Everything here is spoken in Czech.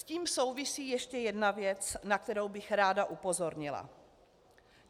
S tím souvisí ještě jedna věc, na kterou bych ráda upozornila.